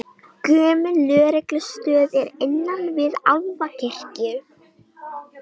Gömul lögreglustöð er innan við Álfakirkju